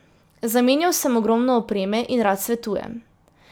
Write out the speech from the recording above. Zamenjal sem ogromno opreme in rad svetujem.